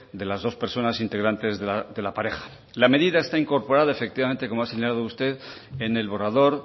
de las dos personas integrantes de la pareja la medida está incorporada efectivamente como ha señalado usted en el borrador